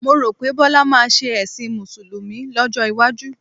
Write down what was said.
Mo rò pé Bọ́lá máa ṣe ẹ̀sìn Mùsùlùmí lọ́jọ́ iwájú.